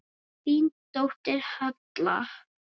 Þín dóttir, Halla.